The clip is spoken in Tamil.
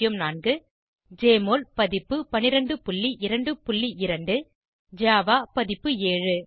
1204 ஜெஎம்ஒஎல் பதிப்பு 1222 ஜாவா பதிப்பு 7